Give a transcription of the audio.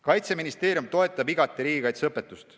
Kaitseministeerium toetab igati riigikaitseõpetust.